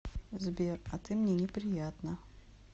сбер а ты мне неприятна